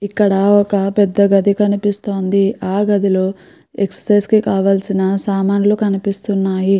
ఇక్కడ ఒక పెద్ద గడ్డి కనిపిస్తుంది ఆ గది లోపల ఎక్సర్సిస్ కి సమందించిన వస్తువుల్లు కనిపిస్తున్నాయి.